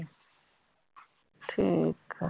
ਠੀਕ ਆ।